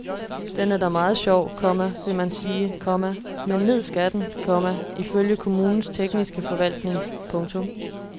Den er da meget sjov, komma vil man sige, komma men ned skal den, komma ifølge kommunens tekniske forvaltning. punktum